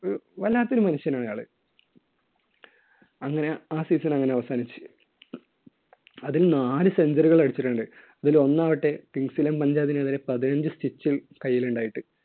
ഒരു വല്ലാത്ത ഒരു മനുഷ്യൻ ആണ് അയാള്. അങ്ങനെ ആ season അങ്ങനെ അവസാനിച്ചു. അതിൽ നാലു century കൾ അടിച്ചിട്ടുണ്ട്. അതിൽ ഒന്നാകട്ടെ kings eleven Punjab നെതിരെ പതിനഞ്ച് stitch ല്‍ കയ്യിൽ ഉണ്ടായിട്ട്.